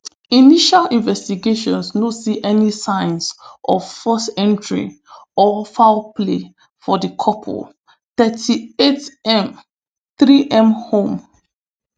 initial investigations no see any signs of forced entry or foul play for di couple thirty-eightm threem home